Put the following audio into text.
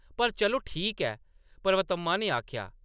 पर, चलो ‌ ठीक ऐ !” पर्वतम्मा ने आखेआ ।